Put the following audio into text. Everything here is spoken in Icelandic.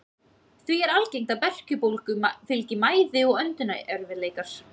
Því er algengt að berkjubólgu fylgi mæði og öndunarerfiðleikar.